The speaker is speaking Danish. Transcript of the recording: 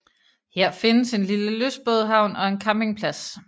Her findes en lille lystbådehavn og en campingplads